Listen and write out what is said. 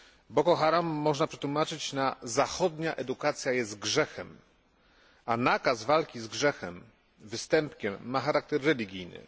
Boko Haram można przetłumaczyć na zachodnia edukacja jest grzechem, a nakaz walki z grzechem, występkiem, ma charakter religijny.